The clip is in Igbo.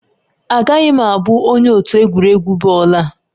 Agaghị m abụ onye otu egwuregwu bọọlụ a